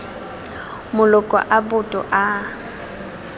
maloko a boto a a